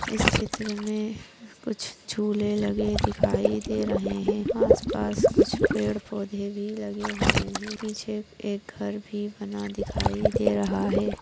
इस चित्र मे कुछ झूले लगाई दिखाई दे रहे है आसपास कुच्छ पेड़ पौधे भी लगे हुए है। पीछे एक घर भी बना दिखाई दे रहा है।